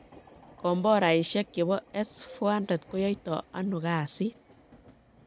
Kombomboraishek chebo S-400 koyoito ano kasiit?